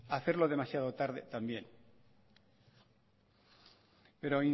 hacerlo demasiado tarde también pero